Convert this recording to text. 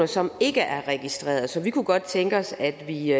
som ikke er registrerede så vi kunne godt tænke os at vi